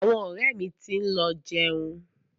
Àwọn ọ̀rẹ́ mi ti ń lọ jẹun.